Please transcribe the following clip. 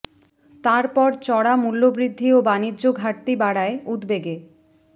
তার পর চড়া মূল্যবৃদ্ধি ও বাণিজ্য ঘাটতি বাড়ায় উদ্বেগে